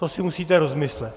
To si musíte rozmyslet.